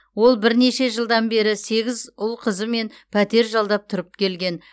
ол бірнеше жылдан бері сегіз ұл қызымен пәтер жалдап тұрып келген